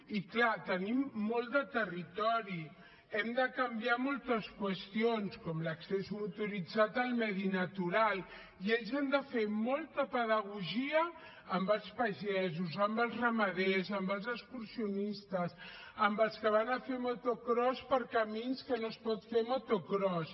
i és clar tenim molt de territori hem de canviar moltes qüestions com l’accés motoritzat al medi natural i ells han de fer molta pedagogia amb els pagesos amb els ramaders amb els excursionistes amb els que van a fer motocròs per camins que no s’hi pot fer motocròs